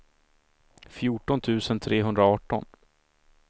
fjorton tusen trehundraarton